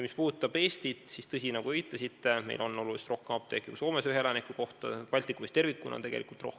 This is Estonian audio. Mis puudutab Eestit, siis tõsi, nagu te viitasite, on meil ühe elaniku kohta oluliselt rohkem apteeke kui Soomes, Baltikumis tervikuna on see tegelikult nii.